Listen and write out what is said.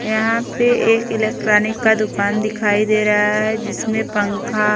यहां पे एक इलेक्ट्रॉनिक का दुकान दिखाई दे रहा जिसमें पंखा--